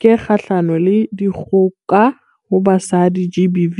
ke e kgahlano le dikgoka ho basadi, GBV.